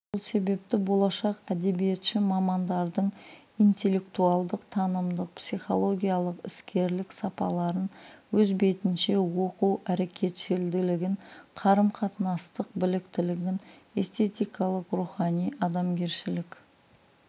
сол себепті болашақ әдебиетші мамандардың интеллектуальдық-танымдық психологиялық іскерлік сапаларын өз бетінше оқу әрекетшілділігін қарым-қатынастық біліктілігін эстетикалық рухани-адамгершілік